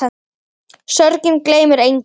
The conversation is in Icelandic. Sorgin gleymir engum.